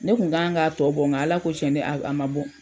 Ne Kun kan ka tɔ bɔ , nga ala ko cɛn a ma bɔ.